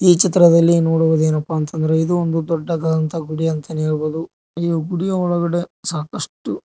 ಈ ಚಿತ್ರದಲ್ಲಿ ನೋಡುವುದು ಏನಪ್ಪಾ ಅಂತ ಅಂದ್ರೆ ಇದು ಒಂದು ಇದು ಒಂದು ದೊಡ್ಡದಾದಂತಹ ಗುಡಿ ಅಂತಾನೆ ಹೇಳಬಹುದು ಈ ಗುಡಿಯ ಒಳಗಡೆ ಸಾಕಷ್ಟು--